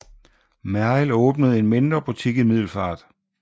Merrild åbnede en mindre butik i Middelfart